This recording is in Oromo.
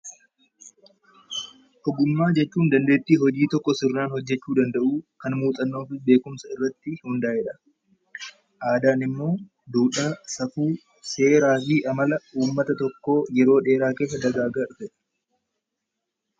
Ogummaa jechuun dandeettii hojii tokko seeraan hojjechuu danda'uu, kan muuxannoo fi beekumsa irratti hundaa'edha. Aadaan immoo duudhaa, safuu, seeraa fi amala uummata tokkoo yeroo dheeraa keessa dagaagaa dhufedha.